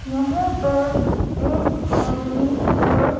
यहां पर एक आदमी और--